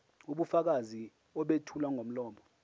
ubufakazi obethulwa ngomlomo